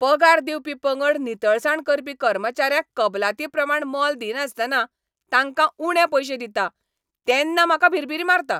पगार दिवपी पंगड नितळसाण करपी कर्मचाऱ्यांक कबलाती प्रमाण मोल दिनासतना तांकां उणे पयशे दिता तेन्ना म्हाका भिरभिरी मारता.